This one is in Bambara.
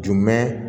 Jumɛn